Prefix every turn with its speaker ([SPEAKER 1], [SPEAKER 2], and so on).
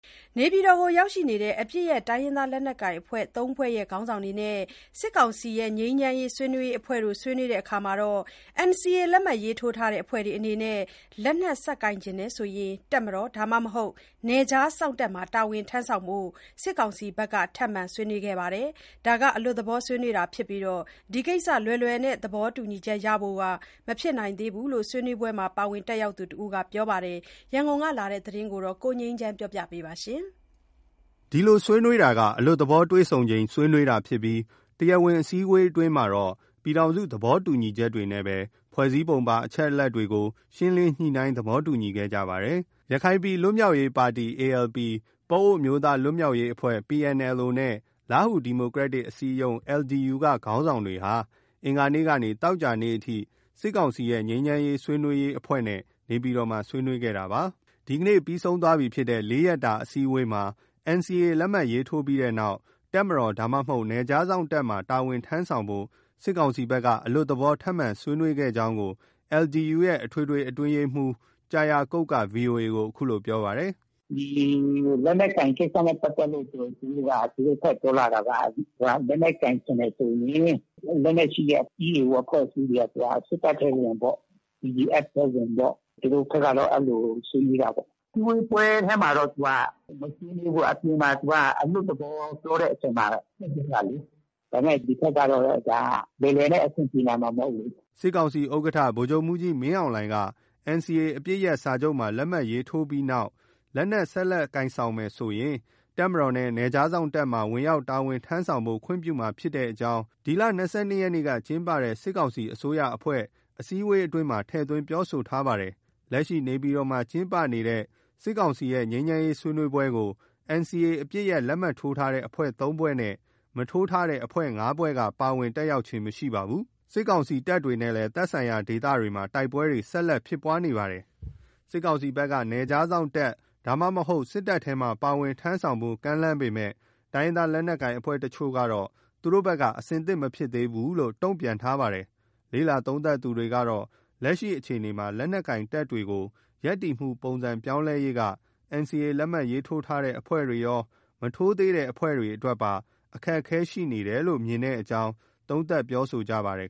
[SPEAKER 1] နေပြည်တော်ကို ရောက်ရှိနေတဲ့ တိုင်းရင်းသားလက်နက်ကိုင် ၃ ဖွဲ့ခေါင်းဆောင်နဲ့ စစ်ကောင်စီရဲ့ ငြိမ်းချမ်းရေးဆွေးနွေးရေးအဖွဲ့တို့ ဆွေးနွေးပွဲမှာ NCA လက်မှတ်ရေးထိုးထားတဲ့ အဖွဲ့တွေအနေနဲ့ လက်နက် ဆက်ကိုင်ချင်တယ်ဆိုရင် တပ်မတော် ဒါမှမဟုတ် နယ်ခြားစောင့်တပ်မှာ တာဝန်ထမ်းဆောင်ဖို့ စစ်ကောင်စီဘက်က ထပ်မံဆွေးနွေးခဲ့ပါတယ်။ အလွတ်သဘော ဆွေးနွေးတာဖြစ်ပြီး ဒီ ကိစ္စ လွယ်လွယ်နဲ့ သဘောတူညီချက်ရဖို့ မဖြစ်နိုင်သေးဘူးလို့ ဆွေးနွေးပွဲမှာ ပါဝင်တက်ရောက်သူတဦးက ပြောပါတယ်။ ရန်ကုန်ကလာတဲ့ ဒီသတင်းကို ကိုငြိမ်းချမ်းက တင်ပြထားပါတယ်။
[SPEAKER 2] ဒီလိုဆွေးနွေးတာကတော့ အလွတ်သဘောတွေ့ဆုံချိန် ဆွေးနွေးတာဖြစ်ပြီး တရားဝင်အစည်းအဝေးအတွင်းမှာတော့ ပြည်ထောင်စုသဘောတူညီချက်တွေနဲ့ ဖွဲ့စည်းပုံပါအချက်တွေကို ရှင်းလင်းညှိနှိုင်း သဘောတူခဲ့ကြပါတယ်။ ရခိုင်ပြည်လွတ်မြောက်ရေးပါတီ ALP၊ ပအိုဝ်းအမျိုးသားလွတ်မြောက်ရေးအဖွဲ့ချုပ် PNLO နဲ့ လားဟူဒီမိုကရက်တစ်အစည်းအရုံး LDU က ခေါင်းဆောင်တွေဟာ အင်္ဂါနေ့ကနေ သောကြာနေ့အထိ စစ်ကောင်စီရဲ့ ငြိမ်းချမ်းရေးဆွေးနွေးရေးအဖွဲ့နဲ့ နေပြည်တော်မှာ ဆွေးနွေးခဲ့တာပါ။ ဒီနေ့ ပြီးဆုံးခဲ့တဲ့ ၄ ရက်တာ အစည်းအဝေးမှာ NCA လက်မှတ်ထိုးပြီးနောက် တပ်မတော် ဒါမှမဟုတ် နယ်ခြားစောင့်တပ်မှာ တာဝန်ထမ်းဆောင်ဖို့ စစ်ကောင်စီဘက်က အလွတ်သဘော ထပ်မံ ဆွေးနွေးခဲ့ကြောင်းကို LDU ရဲ့ အထွေထွေ အတွင်းရေးမှူးကျာယာကုတ်က VOA ကို အခုလို ပြောပါတယ်။ “ ဒီလ
[SPEAKER 3] က်နက်ကိုင်ကိစ္စနဲ့ပတ်သက်လို့ သူတို့ ထပ်ပြောလာတာက လက်နက်ကိုင် ချင်တယ်ဆိုရင် လက်နက်ရှိတဲ့ EAO အဖွဲ့အစည်းတွေက စစ်တပ်ထဲ ဝင်ပေါ့။ BGF ထဲဝင်ပေါ့။ သူတို့ဘက်ကတော့ အဲလို ဆွေးနွေးတာပေါ့။ အစည်းအဝေးထဲမှာတော့ မ
[SPEAKER 2] ဆွေးနွေးဘူး။ အပြင်မှာ အလွတ်သဘော ပြောတဲ့အချိန်မှာ ထည့်ပြောတာလေ။ ဒါပေမယ့် ဒီဘက်ကတော့ ဒါက လွယ်လွယ်နဲ့ အဆင်ပြေလာမှာ မဟုတ်ဘူးလေ။” စစ်ကောင်စီဥက္ကဋ္ဌ ဗိုလ်ချုပ်မှူးကြီမင်းအောင်လှိုင်က NCA အပစ်ရပ်စာချုပ် လက်မှတ် ရေးထိုးပြီးနောက် လက်နက် ဆက်လက်ကိုင်ဆောင်မယ်ဆိုရင် တပ်မတော်နဲ့ နယ်ခြားစောင့်တပ်မှာ ဝင်ရောက် တာဝန်ထမ်းဆောင်ဖို့ ခွင့်ပြုမှာ ဖြစ်ကြောင်းကို ဒီလ ၂၂ ရက်နေ့က ကျင်းပတဲ့ စစ်ကောင်စီအစိုးရအဖွဲ့အစည်းအဝေးမှာ ထည့်သွင်းပြောဆိုထားပါတယ်။ လက်ရှိ နေပြည်တော်မှာ ကျင်းပနေတဲ့ စစ်ကောင်စီရဲ့ ငြိမ်းချမ်းရေးဆွေးနွေးပွဲကို NCA အပစ်ရပ် လက်မှတ်ထိုးထားတဲ့ အဖွဲ့ ၃ ဖွဲ့နဲ့ မထိုးတဲ့ ၅ ဖွဲ့က ပါဝင် တက်ရောက်ခြင်း မရှိပါဘူး။ စစ်ကောင်စီတပ်တွေနဲ့လည်း သက်ဆိုင်ရာဒေသတွေမှာ တိုက် ပွဲတွေ ဆက်လက်ဖြစ်ပွားနေပါတယ်။ စစ်ကောင်စီဘက်က နယ်ခြားစောင့်တပ်ဒါမှမဟုတ် စစ်တပ်ထဲမှာ ပါဝင်ထမ်းဆောင်ဖို့ ကမ်းလှမ်းပေမယ့် တိုင်းရင်းသားလက်နက်ကိုင် အဖွဲ့တချို့ကတော့ သူတို့ ဘက်က အဆင့်သင့် မဖြစ်သေးဘူးလို့ တုံ့ပြန်ထားပါတယ်။ လေ့လာသုံးသပ်သူတွေကတော့ လက်ရှိအခြေအနေမှာ လက်နက်ကိုင် တပ်တွေကို ရပ်တည်မှုပုံစံပြောင်းလဲရေးက NCA လက်မှတ် ရေးထိုးထားတဲ့အဖွဲ့တွေရော၊ မထိုးသေးတဲ့အဖွဲ့တွေအတွက်ပါ အခက်အခဲရှိနေတယ်လို့ မြင်တဲအ့ကြောင်း သုံးသပ်ပြောဆိုကြပါတယ်